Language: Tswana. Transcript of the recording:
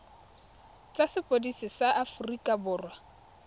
tsa sepodisi sa aforika borwa